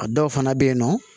A dɔw fana bɛ yen nɔ